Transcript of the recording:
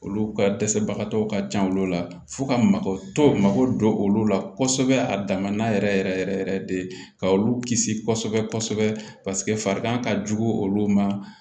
Olu ka dɛsɛbagatɔw ka can olu la fo ka mako tɔ mago don olu la kosɛbɛ a damana yɛrɛ yɛrɛ yɛrɛ de ka olu kisi kosɛbɛ kosɛbɛ paseke farikolo ka jugu olu ma